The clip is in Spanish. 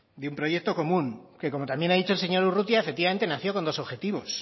de un proyecto común que como también ha dicho el señor urrutia efectivamente nació con dos objetivos